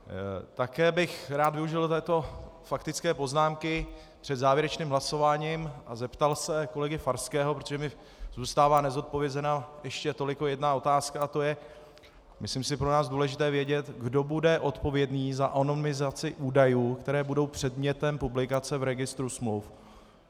Také bych rád využil této faktické poznámky před závěrečným hlasováním a zeptal se kolegy Farského, protože mi zůstává nezodpovězena ještě toliko jedna otázka, a to je, myslím si, pro nás důležité vědět: Kdo bude odpovědný za anonymizaci údajů, které budou předmětem publikace v registru smluv?